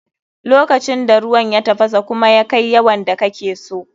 Lokacin da ruwan ya tafasa kuma ya kai yawan da kake so.